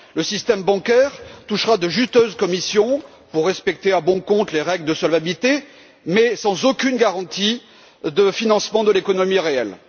Le système bancaire touchera de juteuses commissions pour respecter à bon compte les règles de solvabilité, mais sans aucune garantie de financement de l'économie réelle.